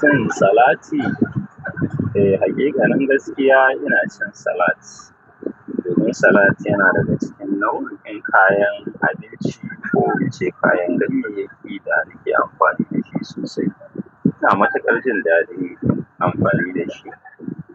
Cin salati? Eh, hakika nan gaskiya ina cin salat. Domin salad yana da cikin nau'in kayan abinci ko in ce kayan ganye yake da ake amfani dashi sosai. Ina matuƙar jin daɗin amfani dashi.